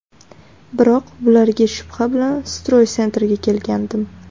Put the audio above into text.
Biroq bularga shubha bilan Stroy Center’ga kelgandim.